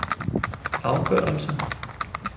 afgørelse